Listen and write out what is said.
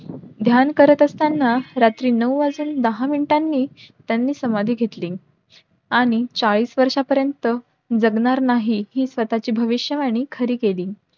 ध्यान करत असताना रात्री नऊ वाजून दहा मिनिटांनी त्यांनी समाधी घेतली. आणि चाळीस वर्षय पर्यंत जगणार नाही हि स्वतःची भविष्यवाणी खरी केली.